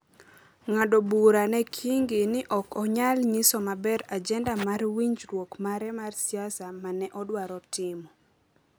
ng’ado bura ne Kingi ni ok onyal nyiso maber ajenda mar winjruok mare mar siasa ma ne odwaro timo.